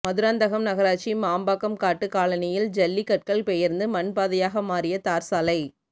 மதுராந்தகம் நகராட்சி மாம்பாக்கம் காட்டு காலனியில் ஜல்லி கற்கள் பெயர்ந்து மண் பாதையாக மாறிய தார்ச்சாலை